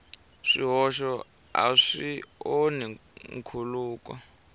swihoxo a swi onhi nkhuluko